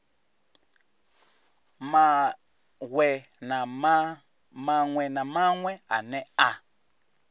maṅwe na maṅwe ane a